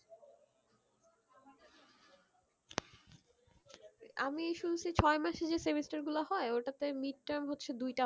আমি শুনছি ছয় মাসের যে semester গুলো হয়ে ওইটাতে mid-term হচ্ছে দুই টা হবে